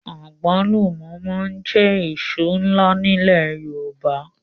Àgbálùmọ̀ máa ń jẹ́ èso ńlá nílẹ̀ Yorùbá